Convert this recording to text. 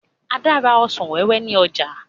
Ada n rà ọsàn wẹ́wẹ́ ní ọjà